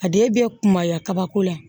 A den bɛ kunbaya kabako la